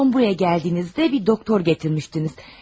Ən son buraya gəldiyinizdə bir doktor gətirmişdiniz.